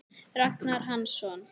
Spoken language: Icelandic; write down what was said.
Ragnar Hansson